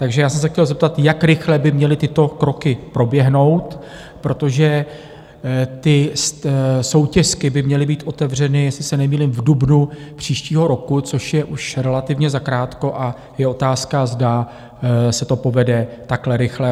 Takže já jsem se chtěl zeptat, jak rychle by měly tyto kroky proběhnout, protože ty soutěsky by měly být otevřeny, jestli se nemýlím, v dubnu příštího roku, což je už relativně zakrátko, a je otázka, zda se to povede takhle rychle.